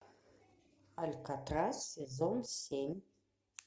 алькатрас сезон семь